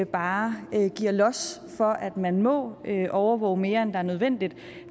bare giver los for at man må overvåge mere end det er nødvendigt